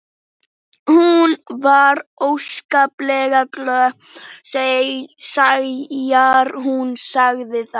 Hún var óskaplega glöð þegar hún sagði það.